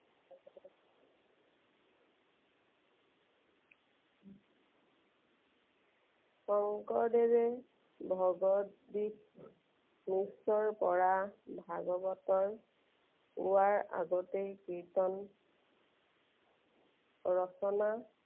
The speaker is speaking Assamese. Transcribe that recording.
শঙ্কৰদেৱে ভগৱত পৰা ভাগৱতৰ পোৱাৰ আগতেই কীৰ্ত্তন ৰচনা